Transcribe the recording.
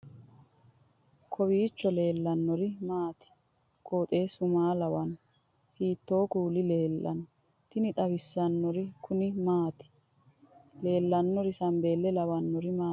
kowiicho leellannori maati ? qooxeessu maa lawaanno ? hiitoo kuuli leellanno ? tini xawissannori kuni maati leellannori sambeelle lawanori maati